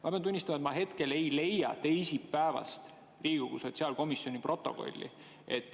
Ma pean tunnistama, et ma hetkel ei leia teisipäevase Riigikogu sotsiaalkomisjoni protokolli.